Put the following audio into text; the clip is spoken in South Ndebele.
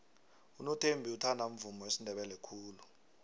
unothembi uthanda umvumo wesindebele khulu